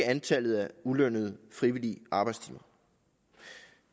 antallet af ulønnede frivillige arbejdstimer